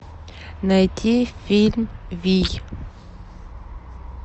найти фильм вий